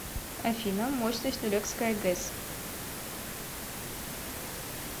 афина мощность нурекская гэс